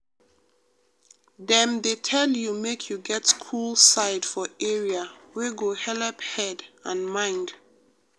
dem dey tell you make you get cool side for area wey go helep head and mind.